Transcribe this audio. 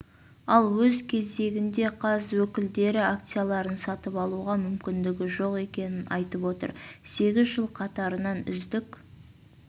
ал өз кезегіндеқаз өкілдері акцияларын сатып алуға мүмкіндігі жоқ екенін айтып отыр сегіз жыл қатарынан үздік